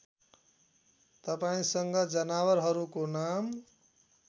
तपाईँसँग जनावरहरूको नाम